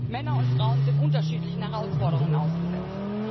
Männer und Frauen sind unterschiedlichen Herausforderungen ausgesetzt.